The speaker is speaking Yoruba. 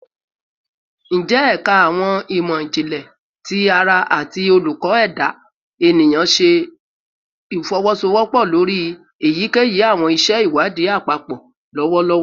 Njẹ Ẹka Awọn imọ-jinlẹ ti ara ati Oluko Eda Eniyan ṣe ifowosowopo lori eyikeyi awọn iṣẹ iwadii apapọ lọwọlọwọ?